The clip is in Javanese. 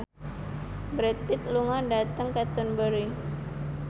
Brad Pitt lunga dhateng Canterbury